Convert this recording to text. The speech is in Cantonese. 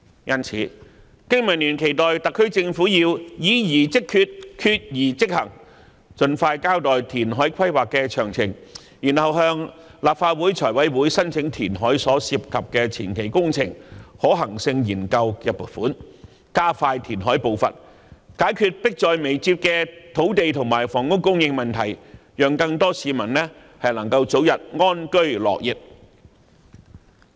因此，經民聯期待特區政府議而即決，決而即行，盡快交代填海規劃詳情，然後向立法會財務委員會申請填海所涉及的前期工程可行性研究的撥款，加快填海步伐，解決迫在眉睫的土地和房屋供應問題，讓更多市民能夠早日安居樂業。